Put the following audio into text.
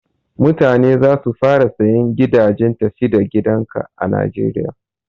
Mutane za su fara sayan gidajen tafi da gidan ka a najeriya.